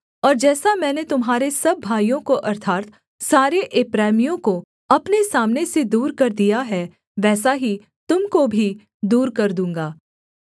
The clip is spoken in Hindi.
और जैसा मैंने तुम्हारे सब भाइयों को अर्थात् सारे एप्रैमियों को अपने सामने से दूर कर दिया है वैसा ही तुम को भी दूर कर दूँगा